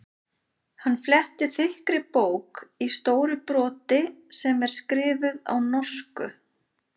Hann flettir þykkri bók í stóru broti sem er skrifuð á norsku.